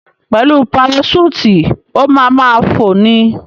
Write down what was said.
Pẹ̀lú paraṣúùtì, o ma ma fò ni.